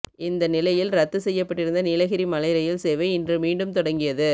இந்த நிலையில் ரத்து செய்யப்பட்டிருந்த நீலகிரி மலை ரயில் சேவை இன்று மீண்டும் தொடங்கியது